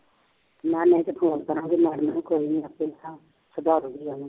ਮੈਂ ਨਹੀਂ ਤਾਂ ਫੋਨ ਕਰਾਂਗੀ madam ਨੂੰ ਕੋਈ ਨਹੀਂ ਆਪੇ ਸਮਝਾ ਦੇਊਗੀ ਆ ਕੇ